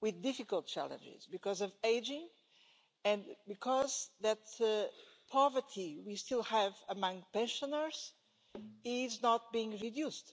with difficult challenges because of ageing and because the poverty we still have among pensioners is not being reduced.